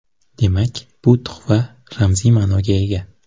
Demak, bu tuhfa ramziy ma’noga ega.